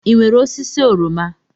Ị nwere osisi oroma?